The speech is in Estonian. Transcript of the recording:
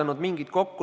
Austatud peaminister!